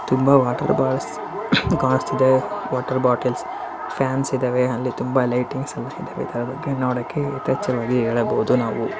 ತುಂಬಾ water bottle guards ಇದೆ water bottle can ಇದವೆ ಅಲ್ಲಿ ತುಂಬಾ ಲೈಟಿಂಗ್ಸ್ ಇದವೆ ಅದಕ್ಕೆ ನೋಡೋದಕ್ಕೆ ಇತ್ತೀಚಿಗೆ ಹೇಳಬಹುದು ನಾವು--